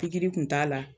Pikiri kun t'a la